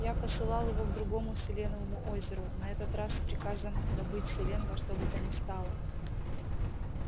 я посылал его к другому селеновому озеру на этот раз с приказом добыть селен во что бы то ни стало